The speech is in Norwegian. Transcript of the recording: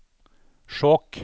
Skjåk